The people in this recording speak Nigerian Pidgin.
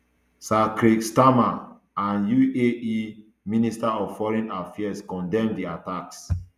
sir keir starmer and uae minister of foreign affairs condemn di attacks